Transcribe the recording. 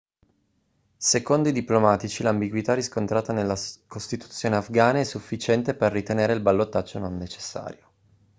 secondo i diplomatici l'ambiguità riscontrata nella costituzione afghana è sufficiente per ritenere il ballottaggio non necessario